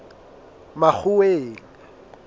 makgoweng